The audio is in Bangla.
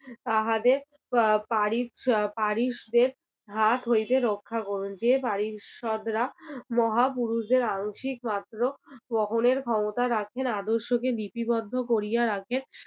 তাহাদের পা~ পারিশ~ পারিশ দের হার হইতে রক্ষা করুন যে পারিষদরা মহাপুরুষদের আংশিক মাত্র বহনের ক্ষমতা রাখেন আদর্শকে লিপিবদ্ধ করিয়া রাখেন,